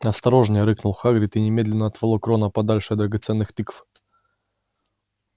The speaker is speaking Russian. осторожнее рыкнул хагрид и немедленно отволок рона подальше от драгоценных тыкв